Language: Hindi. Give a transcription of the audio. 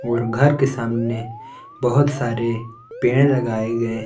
और घर के सामने बहुत सारे पेड़ लगाए गए--